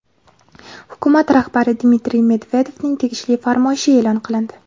Hukumat rahbari Dmitriy Medvedevning tegishli farmoyishi e’lon qilindi.